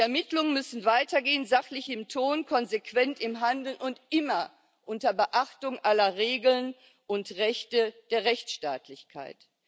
Die Ermittlungen müssen weitergehen, sachlich im Ton, konsequent im Handeln und immer unter Beachtung aller Regeln und Rechte der Rechtsstaatlichkeit.